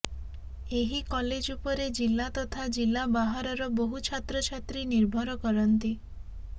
ଏହି କଲେଜ ଉପରେ ଜିଲ୍ଲା ତଥା ଜିଲ୍ଲା ବାହାରର ବହୁ ଛାତ୍ରଛାତ୍ରୀ ନିର୍ଭର କରନ୍ତି